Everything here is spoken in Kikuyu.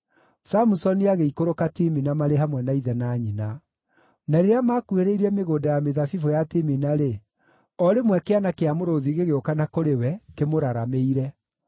Samusoni agĩikũrũka Timina marĩ hamwe na ithe na nyina. Na rĩrĩa makuhĩrĩirie mĩgũnda ya mĩthabibũ ya Timina-rĩ, o rĩmwe kĩana kĩa mũrũũthi gĩgĩũka na kũrĩ we kĩmũraramĩire.